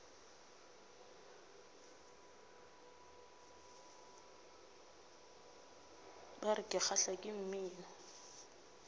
bar ke kgahlwa ke mmino